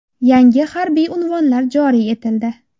Yangi harbiy unvonlar joriy etildi.